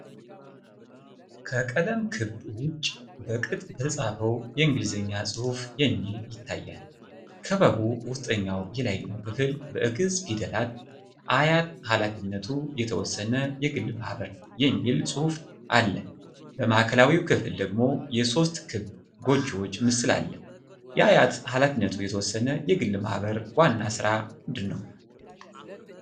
ከቀለም ክበብ ውጪ በቅጥ በተጻፈው የእንግሊዝኛ ጽሑፍ የሚል ይታያል። ከክበቡ ውስጠኛው የላይኛው ክፍል በግዕዝ ፊደላት “አያት ኃ/የተ/የግ/ማህበር” የሚል ጽሑፍ አለ። በማዕከላዊው ክፍል ደግሞ የሶስት ክብ ጎጆዎች ምስል አለ። የአያት ኃ/የተ/የግ/ማህበር ዋና ሥራ ምንድን ነው?